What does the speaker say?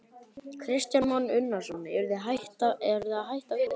Kristján Már Unnarsson: Eruð þið að hætta við?